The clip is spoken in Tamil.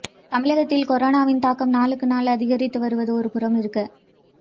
தமிழகத்தில் கொரோனாவின் தாக்கம் நாளுக்கு நாள் அதிகரித்து வருவது ஒரு புறமிருக்க